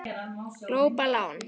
Glópa lán